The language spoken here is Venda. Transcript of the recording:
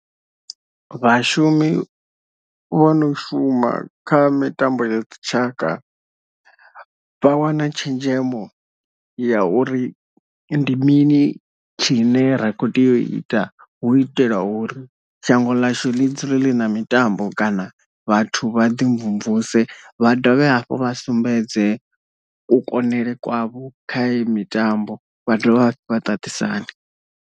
Vhashumi vho no shuma kha mitambo ya dzitshaka vha wana tshenzhemo ya uri ndi mini tshine ra kho tea u ita hu itela uri shango ḽashu ḽi dzule ḽi na mitambo kana vhathu vha ḓi mvumvuse vha dovhe hafhu vha sumbedze ku konele kwavho kha iyi mitambo vha dovha hafhu vha ṱaṱisane.